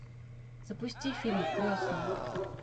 запусти фильм крестный